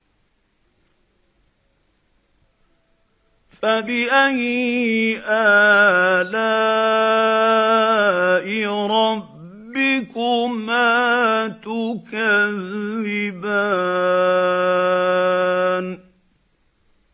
فَبِأَيِّ آلَاءِ رَبِّكُمَا تُكَذِّبَانِ